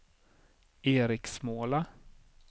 Eriksmåla